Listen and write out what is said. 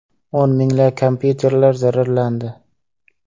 O‘n minglab kompyuterlar zararlandi.